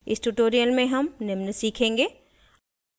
इस tutorial में हम निम्न सीखेंगे